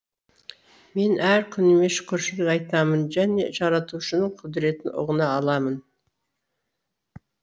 мен әр күніме шүкіршілік айтамын және жаратушының құдіретін ұғына аламын